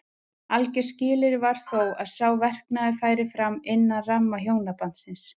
Algert skilyrði var þó að sá verknaður færi fram innan ramma hjónabandsins.